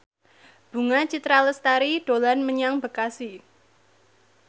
Bunga Citra Lestari dolan menyang Bekasi